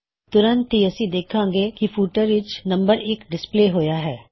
ਤੁਰੰਤ ਹੀ ਅਸੀ ਦੇਖਾਂਗੇ ਕੀ ਫੁਟਰ ਵਿੱਚ ਨੰਬਰ 1 ਡਿਸਪਲੇ ਹੋਇਆ ਹੈ